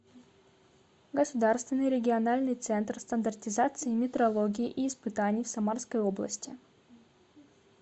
государственный региональный центр стандартизации метрологии и испытаний в самарской области